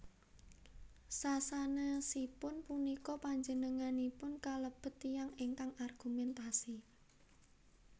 Sasanèsipun punika panjenenganipun kalebet tiyang ingkang argumentasi